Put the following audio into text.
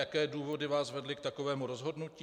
Jaké důvody vás vedly k takovému rozhodnutí?